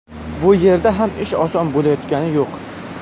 Bu yerda ham ish oson bo‘layotgani yo‘q.